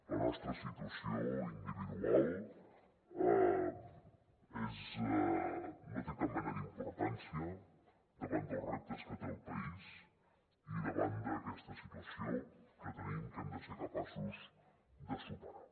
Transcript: la nostra situació individual no té cap mena d’importància davant dels reptes que té el país i davant d’aquesta situació que tenim que hem de ser capaços de superar